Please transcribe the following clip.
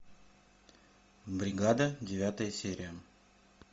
бригада девятая серия